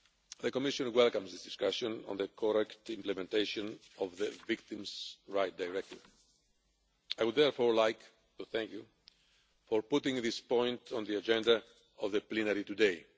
The Commission welcomes this discussion on the correct implementation of the Victims' Rights Directive. I would therefore like to thank you for putting this point on the agenda of the plenary today.